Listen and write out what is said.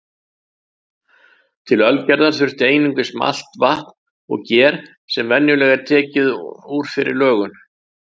Til ölgerðar þurfti einungis malt, vatn og ger sem venjulega var tekið úr fyrri lögun.